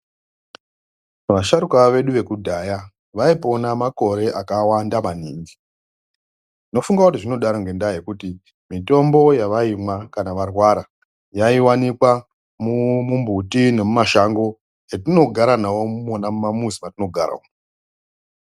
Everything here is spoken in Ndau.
Vasharuka vedu vekudhaya, vayipona makore akawanda maningi, ndofunga kuti zvinodaro ngendaa yekuti mitombo yavayimwa kana varwara yaiwanikwa mumumbuti nemumashango etinogara nawo mona mumamizi matinogara umu.